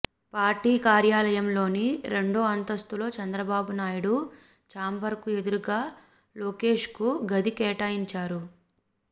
party కార్యాలయంలోని రెండో అంతస్థులో చంద్రబాబు నాయుడు ఛాంబర్కు ఎదురుగా లోకేష్కు గది కేటాయించారు